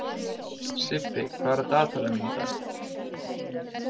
Sibbi, hvað er á dagatalinu mínu í dag?